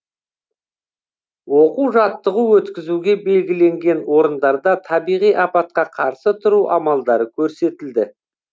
оқу жаттығу өткізуге белгіленген орындарда табиғи апатқа қарсы тұру амалдары көрсетілді